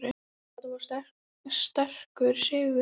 Þetta var sterkur sigur.